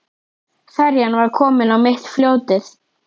Ferjan var komin á mitt fljótið.